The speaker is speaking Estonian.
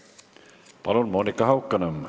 Palun, Monika Haukanõmm!